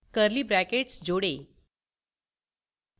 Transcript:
curly brackets जोड़ें